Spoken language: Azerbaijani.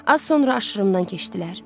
Az sonra aşırımdan keçdilər.